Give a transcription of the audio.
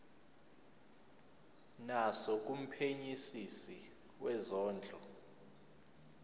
naso kumphenyisisi wezondlo